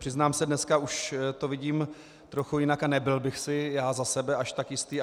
Přiznám se, dneska už to vidím trochu jinak a nebyl bych si já za sebe až tak jistý.